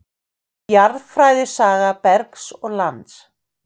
Jarðfræði- saga bergs og lands.